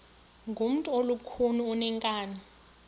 ngumntu olukhuni oneenkani